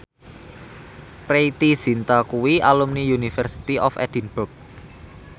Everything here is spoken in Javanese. Preity Zinta kuwi alumni University of Edinburgh